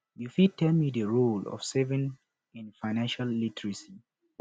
you fit tell me di role of saving in financial literacy